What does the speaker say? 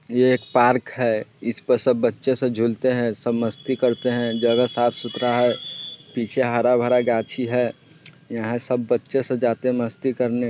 ये एक पार्क है जिसपे बचे सब झूलते है| स मस्ती करते है| जगह साफ सुथरा है| पीछे हरा भरा गाछी है| यहा सब बच्चे से जाते मस्ती करने|